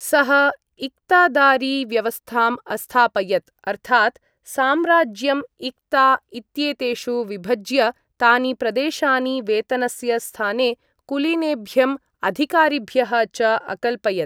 सः इक़्तादारी व्यवस्थाम् अस्थापयत् अर्थात्, साम्राज्यम् इक़्ता इत्येतेषु विभज्य, तानि प्रदेशानि वेतनस्य स्थाने कुलीनेभ्यं अधिकारिभ्यः च अकल्पयत्।